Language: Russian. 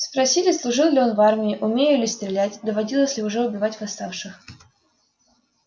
спросили служил ли в армии умею ли стрелять доводилось ли уже убивать восставших